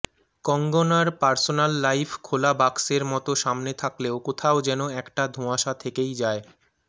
কঙ্গনার personal life খোলা বাক্সের মত সামনে থাকলেও কোথাও যেন একটা ধোঁয়াশা থেকেই যায়